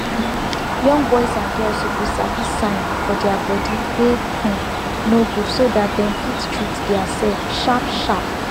young boys and girls suppose sabi sign for deir body wey um no good so dem fit treat deir self sharp sharp